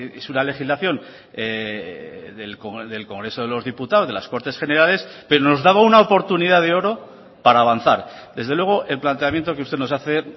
es una legislación del congreso de los diputados de las cortes generales pero nos daba una oportunidad de oro para avanzar desde luego el planteamiento que usted nos hace